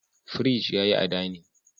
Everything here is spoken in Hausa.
Fridge yayi a dinning